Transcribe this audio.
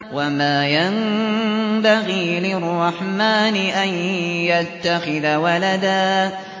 وَمَا يَنبَغِي لِلرَّحْمَٰنِ أَن يَتَّخِذَ وَلَدًا